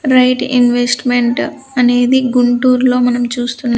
Right investment అనేది గుంటూరులో మనం చూస్తున్నాం.